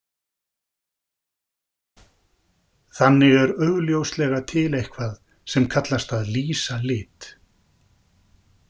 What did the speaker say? Þannig er augljóslega til eitthvað sem kallast að lýsa lit.